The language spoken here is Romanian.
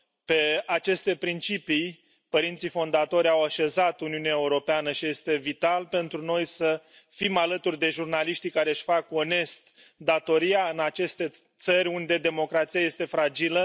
Pe aceste principii, părinții fondatori au așezat Uniunea Europeană și este vital pentru noi să fim alături de jurnaliștii care își fac onest datoria în aceste țări unde democrația este fragilă.